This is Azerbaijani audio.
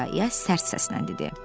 İya-iya sərt səslə dedi.